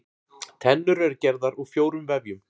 Tennur eru gerðar úr fjórum vefjum.